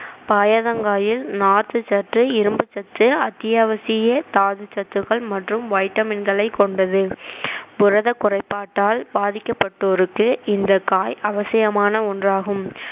பயத்தங்காயில் நார்ச்சத்து இரும்புச் சத்து அத்தியாவசிய தாதுச்சத்துக்கள் மற்றும் வைட்டமின்களை கொண்டது புரத குறைபாட்டால் பாதிக்கப்பட்டோருக்கு இந்த காய் அவசியமான ஒன்றாகும்